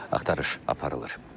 Axtarış aparılır.